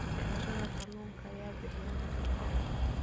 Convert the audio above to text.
Mindhicirrada kalluunka ayaa bixiya nafaqo.